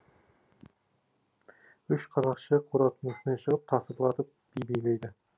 үш қарақшы қораптың үстіне шығып тасырлатып би билейді